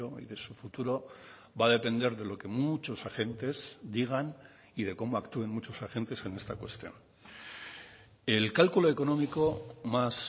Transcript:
y de su futuro va a depender de lo que muchos agentes digan y de cómo actúen muchos agentes en esta cuestión el cálculo económico más